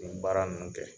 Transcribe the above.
Nin baara ninnu kɛ